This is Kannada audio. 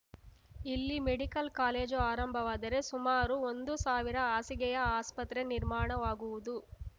ಇಲ್ಲಿ ಮೆಡಿಕಲ್‌ ಕಾಲೇಜು ಆರಂಭವಾದರೆ ಸುಮಾರು ಒಂದು ಸಾವಿರ ಹಾಸಿಗೆಯ ಆಸ್ಪತ್ರೆ ನಿರ್ಮಾಣವಾಗುವುದು